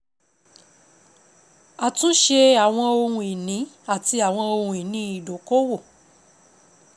Àtúnṣe àwọn ohun ìní àti àwọn ohun ìní ìdókòwò.